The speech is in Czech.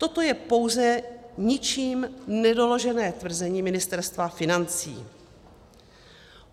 Toto je pouze ničím nedoložené tvrzení Ministerstva financí.